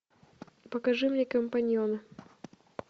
покажи мне компаньона